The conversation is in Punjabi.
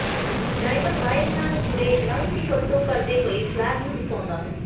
ਡਾਈਵਰ ਰਾਇਲ ਨਾਲ ਜੁੜੇ ਲਾਈਨ ਦੀ ਵਰਤੋਂ ਕਰਦੇ ਹੋਏ ਫਲੈਗ ਨੂੰ ਦਿਖਾਉਂਦਾ ਹੈ